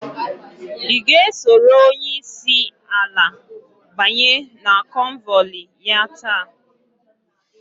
I ga esoro onyeisi ala banye na konvoili ya taa?